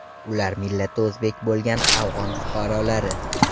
Ular millati o‘zbek bo‘lgan afg‘on fuqarolari.